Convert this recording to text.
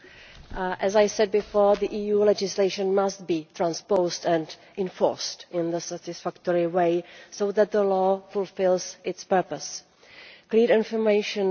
Madam President, as I said before, EU legislation must be transposed and enforced in a satisfactory way so that the law fulfils its purpose.